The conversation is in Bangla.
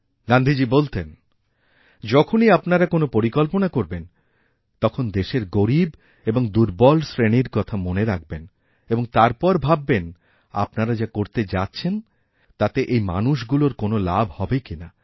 গান্ধীজী বলতেনযখনই আপনারা কোনও পরিকল্পনা করবেন তখন দেশের গরীব এবং দুর্বল শ্রেণির কথা মনেরাখবেন এবং তারপর ভাববেন আপনারা যা করতে যাচ্ছেন তাতে এই মানুষগুলোর কোনও লাভহবে কিনা